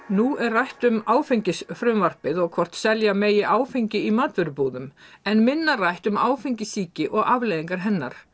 nú er rætt um áfengisfrumvarpið og hvort selja megi áfengi í matvörubúðum en minna rætt um áfengissýki og afleiðingar hennar